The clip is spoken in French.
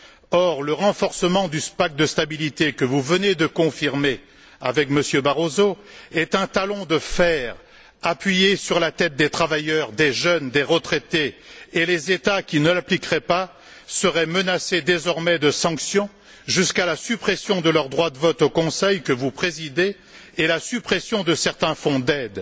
Or, le renforcement du pacte de stabilité que vous venez de confirmer avec M. Barroso est un talon de fer appuyé sur la tête des travailleurs, des jeunes, des retraités, et les États qui ne l'appliqueraient pas seraient désormais menacés de sanctions, jusqu'à la suppression de leur droit de vote au Conseil, que vous présidez, et la suppression de certains fonds d'aide.